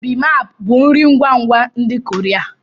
Bimaap bụ nri ngwa ngwa ndị Korea.